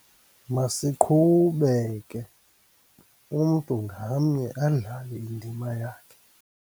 Masiqhube ke, umntu ngamnye adlale indima yakhe.